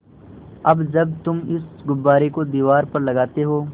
अब जब तुम इस गुब्बारे को दीवार पर लगाते हो